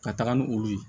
Ka taga ni olu ye